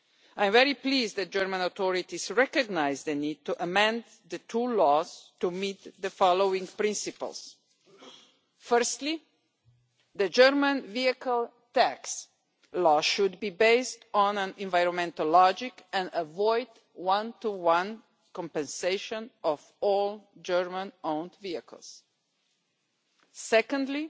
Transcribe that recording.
I am very pleased that the German authorities recognised the need to amend the two laws to meet the following principles. Firstly, the German vehicle tax law should be based on environmental logic and avoid one to one compensation of all German owned vehicles. Secondly,